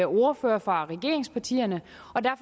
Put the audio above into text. ordførere fra regeringspartierne